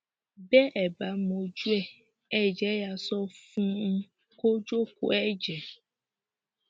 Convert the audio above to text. bẹ ẹ bá mojú ẹ ẹ jẹ yáa sọ fún un kó jókòó ẹ jẹẹ